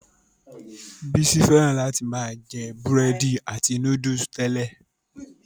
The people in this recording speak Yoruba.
Bísí fẹ́ràn láti máa jẹ búrẹ́dì àti núdúlù tẹ́lẹ̀.